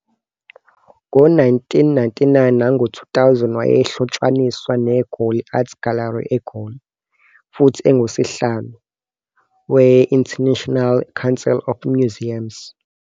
Ngo-1999 nango-2000, wayehlotshaniswa neGoli Art Gallery eGoli futhi engusihlalo "weConseil International des Musées", International Council of Museums.